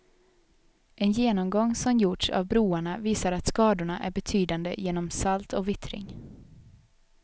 En genomgång som gjorts av broarna visar att skadorna är betydande genom salt och vittring.